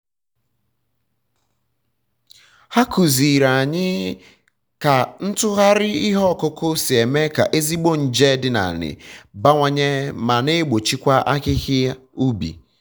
ha kụziiri anyị ka ntụgharị ihe ọkụkụ si eme ka ezigbo nje dị na ala bawanye ma na egbochikwa ahịhịa ubi